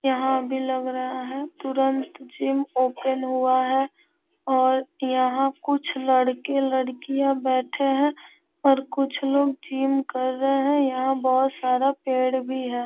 यहाँ भी लग रहा है तुरंत जिम ओपन हुआ है और यहाँ कुछ लड़के-लड़कियाँ बैठे है और कुछ लोग जिम कर रहे है यहाँ बहुत सारा पेड़ भी है।